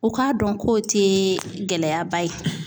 U k'a dɔn k'o tɛ gɛlɛyaba ye